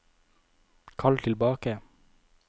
kall tilbake